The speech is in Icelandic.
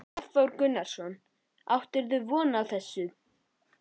Hafþór Gunnarsson: Áttirðu von á þessu?